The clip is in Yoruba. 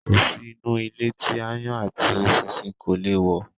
Kò sí inú ilé tí ááyán àti eṣinṣin kò le è wọ̀